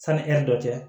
Sani ɛri dɔ cɛ